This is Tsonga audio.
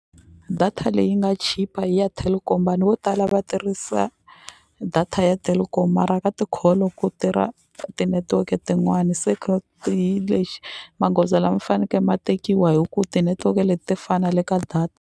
Data leyi nga chipa i ya Telkom vanhu vo tala va tirhisa data ya Telkom mara ka ti-call-o ku tirha tinetiweke tin'wani se hi lexi magoza lama ma faneke ma tekiwa hi ku ti-network-e leti ti fana le ka data.